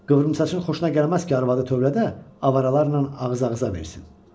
Qıvrımsaçın xoşuna gəlməz ki, arvadı tövlədə avaralarla ağız-ağıza versin.